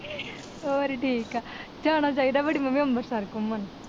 ਹੋਰ ਠੀਕ ਆ ਜਾਣਾ ਚਾਹੀਦਾ ਵੱਡੀ ਮੰਮੀ ਅੰਮ੍ਰਿਤਸਰ ਘੁੰਮਣ।